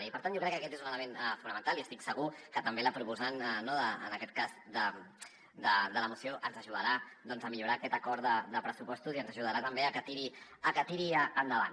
i per tant jo crec que aquest és un element fonamental i estic segur que també la proposant no en aquest cas de la moció ens ajudarà a millorar aquest acord de pressupostos i ens ajudarà també a que tiri endavant